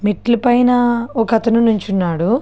మెట్లు పైన ఒక అతను నించొనే ఉన్నాడు.